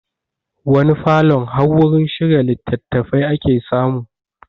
Wani falon har wurin shirya litattafai ake samu